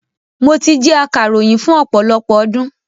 Mo ti jẹ́ akàròyìn fún ọ̀pọ̀lọpọ̀ ọdún.